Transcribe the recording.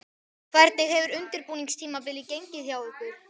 Hvernig hefur undirbúningstímabilið gengið hjá ykkur?